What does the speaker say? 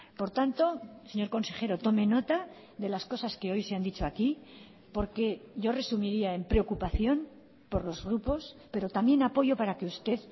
por tanto señor consejero tome nota de las cosas que hoy se han dicho aquí porque yo resumiría en preocupación por los grupos pero también apoyo para que usted